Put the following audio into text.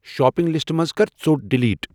Shopping لسٹہٕ منز کر ژوٹ ڈیلیٹ ۔